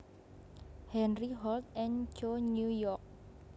Henry Holt and Co New York